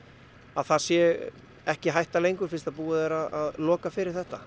að það sé ekki hætta lengur fyrst að búið er að loka fyrir þetta